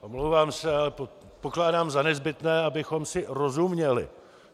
Omlouvám se, ale pokládám za nezbytné, abychom si rozuměli.